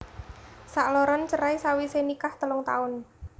Sakloron cerai sawisé nikah telung taun